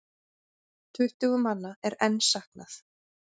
Tuttugu manna er enn saknað.